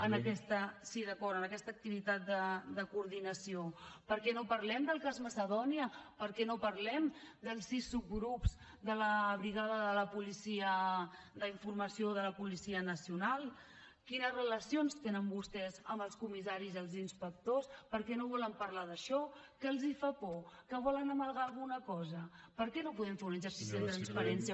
en aquesta sí d’acord activitat de coordinació per què no parlem del cas macedònia per què no parlem dels sis subgrups de la brigada d’informació de la policia nacional quines relacions tenen vostès amb els comissaris i els inspectors per què no volen parlar d’això que els fa por que volen amagar alguna cosa per què no podem fer un exercici de transparència